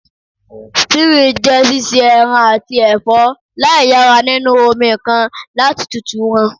Stewing je sise eran ati ẹfọ laiyara ninu omi kan lati tutu wọn